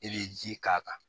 E bɛ ji k'a kan